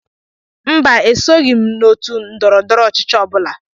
Mbà, esoghi m otú ndọrọ ndọrọ ọchịchị ọbula.